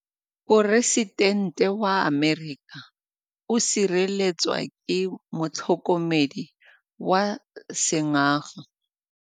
Poresitêntê wa Amerika o sireletswa ke motlhokomedi wa sengaga.